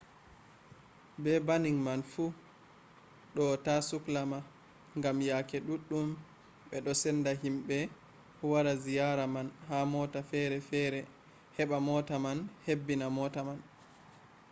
be banning man fu ɗo ta sukla ma gam yake ɗuɗɗum ɓe ɗo senda himɓe wari ziyara man ha mota fere fere heɓa mota man hebbina mota man